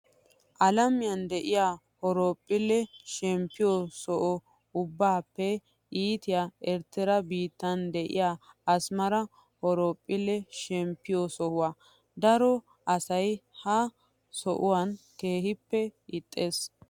Alamiyaa diyaa horophphille shemppiyoo soho ubbaappe iitiyaa Erttaraa biittan diyaa Asmara horophphille shemppiyoo sohuwaa. Daro asayi ha sohuwaa keehippe ixxes.